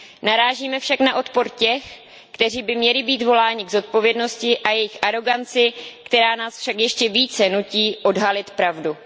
Narážíme však na odpor těch, kteří by měli být voláni k zodpovědnosti, a na jejich aroganci, která nás však ještě více nutí odhalit pravdu.